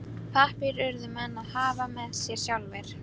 Pappír urðu menn að hafa með sér sjálfir.